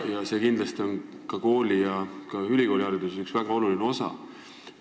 See on kindlasti kooli- ja ülikoolihariduse üks väga oluline osa.